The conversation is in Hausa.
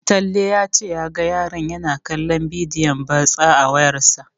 Talle ya ce shi ya ga yaron yana kallon bidiyon batsa a wayarsa.